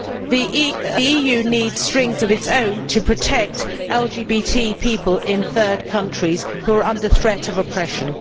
The EU needs strings of its own to protect LGBT people in third countries who are under threat of oppression.